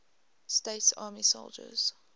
states army soldiers